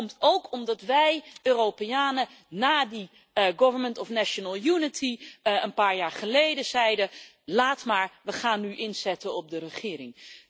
Dat komt ook omdat wij Europeanen na die regering van nationale eenheid een paar jaar geleden zeiden Laat maar, we gaan nu inzetten op de regering.